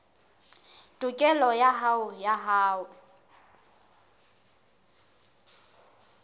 tokelo ya hao ya ho